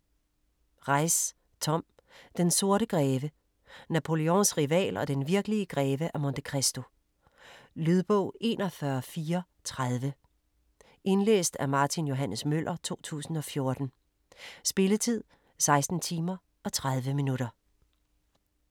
Reiss, Tom: Den sorte greve: Napoleons rival og den virkelige greve af Monte Cristo Lydbog 41430 Indlæst af Martin Johs. Møller, 2014. Spilletid: 16 timer, 30 minutter.